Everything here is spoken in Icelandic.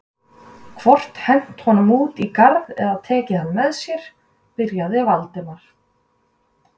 hvort hent honum út í garð eða tekið hann með sér.- byrjaði Valdimar.